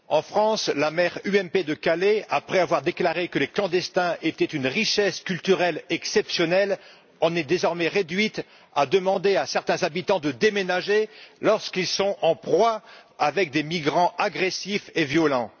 En France, la maire UMP de Calais, après avoir déclaré que les clandestins étaient une richesse culturelle exceptionnelle, en est désormais réduite à demander à certains habitants de déménager, lorsqu'ils sont en proie à des migrants agressifs et violents.